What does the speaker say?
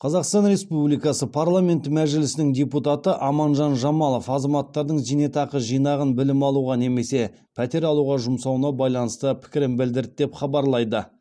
қазақстан республикасы парламенті мәжілісінің депутаты аманжан жамалов азаматтардың зейнетақы жинағын білім алуға немесе пәтер алуға жұмсауына байланысты пікірін білдірді деп хабарлайды